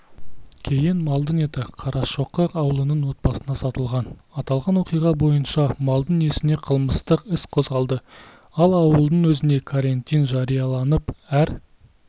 кейін малдың еті қарашоқы ауылының отбасына сатылған аталған оқиға бойынша малдың иесіне қылмыстық іс қозғалды ал ауылдың өзінде карантин жарияланып әр